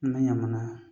N bɛ ɲamana